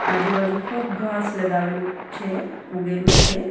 આજુ-બાજુ ખૂબ ઘાસ લગાવેલું છે ઉગેલું છે.